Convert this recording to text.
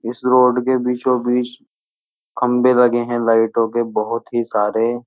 इस रोड के बीचो बीच खंबे लगे हैं लाईटों के बोहोत ही सारे।